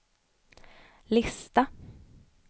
lista